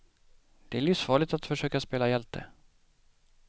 Det är livsfarligt att försöka spela hjälte.